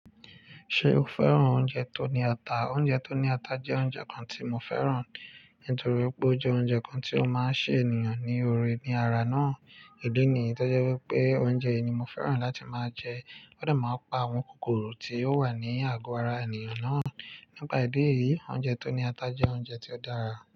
Ṣé o fẹ́ràn oúnjẹ tó ní ata? Oúnjẹ tó ní ata jẹ́ oúnjẹ kan tí mo fẹ́ràn, nítorí pé ó jẹ́ oúnjẹ kan tí ó máa ń ṣe ènìyàn ní ore ní ara náà. Ídí nìyí tí ó jẹ́ wípé oúnjẹ yìí ni mo fẹ́ràn láti máa jẹ. Ó dà máa ń pa àwọn kòkòrò tí ó wà ní àgo ara ènìyàn náà. Nípa ìdí èyí, oúnjẹ tó ní ata jẹ́ oúnjẹ tí ó dára.